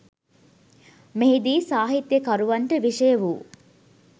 මෙහි දී සාහිත්‍යකරුවන්ට විෂය වූ